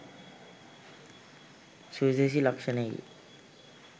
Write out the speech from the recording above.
සුවිශේෂී ලක්ෂණයකි.